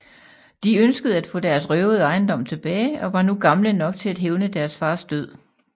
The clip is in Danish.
De ønskede at få deres røvede ejendom tilbage og var nu gamle nok til at hævne deres fars død